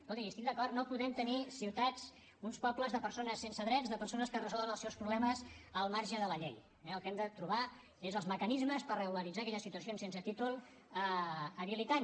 escolti hi estic d’acord no podem tenir ciutats uns pobles de persones sense drets de persones que resolen els seus problemes al marge de la llei eh el que hem de trobar és els mecanismes per regularitzar aquelles situacions sense títol habilitant